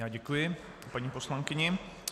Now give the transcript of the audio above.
Já děkuji paní poslankyni.